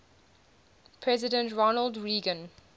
president ronald reagan